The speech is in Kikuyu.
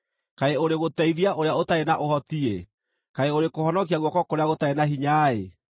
“Kaĩ ũrĩ gũteithia ũrĩa ũtarĩ na ũhoti-ĩ! Kaĩ ũrĩ kũhonokia guoko kũrĩa gũtarĩ na hinya-ĩ!